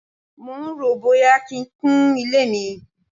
mò ń ròó bóyá kí n kun ilé mi.